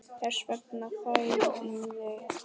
Þess vegna þagði hann.